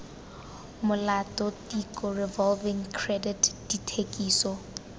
molato tiko revolving credit dithekiso